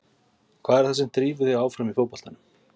Hvað er það sem drífur þig áfram í fótboltanum?